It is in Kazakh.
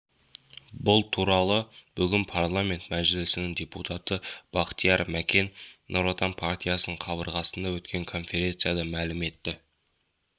бұл туралы бүгін парламент мәжілісінің депутаты бақтияр мәкен нұр отан партиясының қабырғасында өткен конференцияда мәлім етті